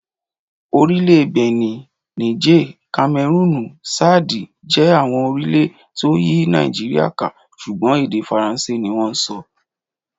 Orílè Bìní, Nííjè, Kamẹrúùnù, Ṣáàdì, jẹ́ àwọn orílẹ̀ tó yí Nàìjíríà ká, ṣùgbọ́n èdè Faransé ni wón ń sọ.